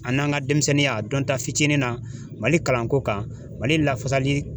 A n'an ka demisɛnninya dɔnta fitinin na Mali kalan ko kan Mali lafasali